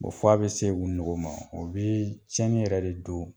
F'a bi se u nogo ma o bi cɛnni yɛrɛ de don